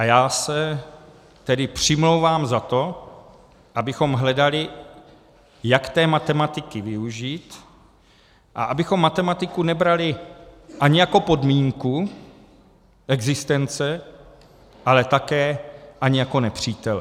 A já se tedy přimlouvám za to, abychom hledali, jak té matematiky využít, a abychom matematiku nebrali ani jako podmínku existence, ale také ani jako nepřítele.